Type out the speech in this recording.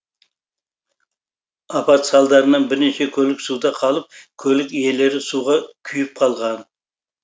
апат салдарынан бірнеше көлік суда қалып көлік иелері суға күйіп қалған